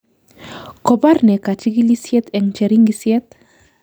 Kokobar ne kachigilishet eng cheringisyet?